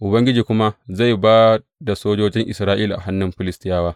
Ubangiji kuma zai ba da sojojin Isra’ila a hannun Filistiyawa.